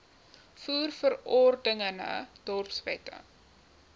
voer verordeninge dorpswette